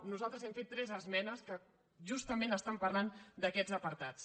nosaltres hem fet tres esmenes que justament estan parlant d’aquests apartats